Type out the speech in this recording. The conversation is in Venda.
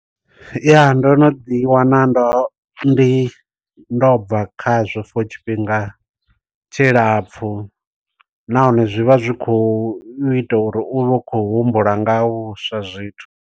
Ya ndo no ḓi wana ndo ndi ndo bva khazwo for tshifhinga tshilapfu. Nahone zwi vha zwi khou ita uri u vhe u khou humbula nga ha vhuswa zwithu.